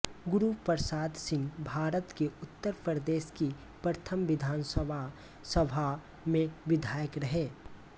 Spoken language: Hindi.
गुरू प्रसाद सिंहभारत के उत्तर प्रदेश की प्रथम विधानसभा सभा में विधायक रहे